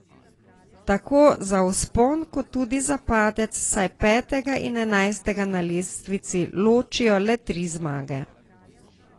Tako za vzpon kot tudi za padec, saj petega in enajstega na lestvici ločijo le tri zmage.